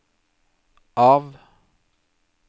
av